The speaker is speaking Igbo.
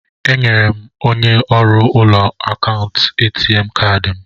Enyere m onye ọrụ ụlọ akụ ATM kaadị m.